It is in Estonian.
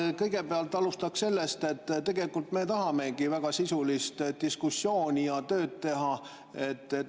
Ma kõigepealt alustan sellest, et tegelikult me tahamegi väga sisulist diskussiooni ja tööd teha.